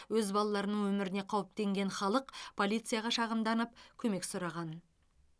өз балаларының өміріне қауіптенген халық полицияға шағымданып көмек сұраған